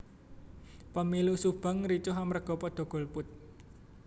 Pemilu Subang ricuh amarga podo golput